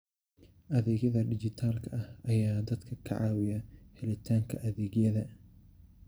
Adeegyada dijitaalka ah ayaa dadka ka caawiya helitaanka adeegyada.